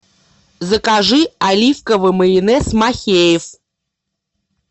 закажи оливковый майонез махеев